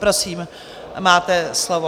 Prosím, máte slovo.